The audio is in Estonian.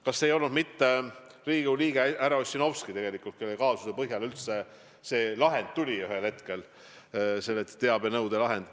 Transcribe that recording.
Kas see ei olnud mitte Riigikogu liige härra Ossinovski, kelle kaasuse põhjal see teabenõudelahend ühel hetkel üldse tuli?